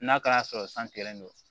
N'a kɛra sɔrɔ san kɛlen don